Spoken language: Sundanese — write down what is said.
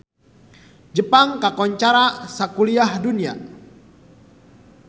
Jepang kakoncara sakuliah dunya